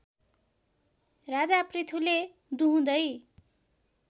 राजा पृथुले दुहुँदै